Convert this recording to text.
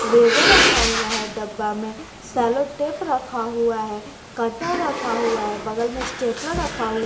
Laser रखा हुआ है डब्बा में सेलो टेप रखा हुआ है कटा रखा हुआ है बगल में स्टेपलर रखा है।